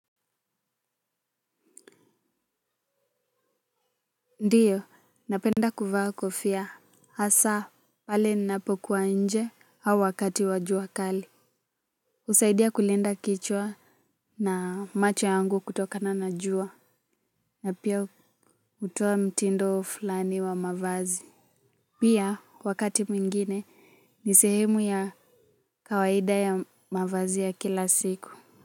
Ndiyo napenda kuvaa kofia hasa pale ninapokuwa nje au wakati wa jua kali husaidia kulinda kichwa na macho yangu kutokana na jua na pia hutoa mtindo fulani wa mavazi pia wakati mwingine ni sehemu ya kawaida ya mavazi ya kila siku.